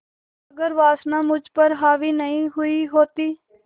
अगर वासना मुझ पर हावी नहीं हुई होती